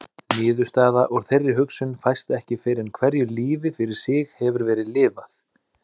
Niðurstaða úr þeirri hugsun fæst ekki fyrr en hverju lífi fyrir sig hefur verið lifað.